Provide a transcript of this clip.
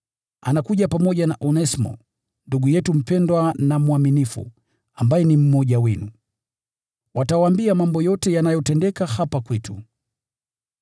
Anakuja pamoja na Onesimo, ndugu yetu mpendwa na mwaminifu, ambaye ni mmoja wenu. Watawaambia mambo yote yanayotendeka hapa kwetu.